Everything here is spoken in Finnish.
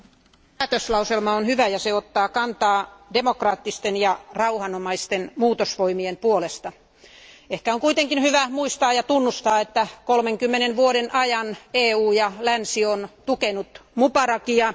Arvoisa puhemies, päätöslauselma on hyvä ja se ottaa kantaa demokraattisten ja rauhanomaisten muutosvoimien puolesta. Ehkä on kuitenkin hyvä muistaa ja tunnustaa, että 30 vuoden ajan EU ja länsi on tukenut Mubarakia.